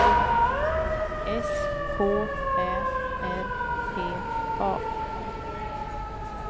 S K Ä R P A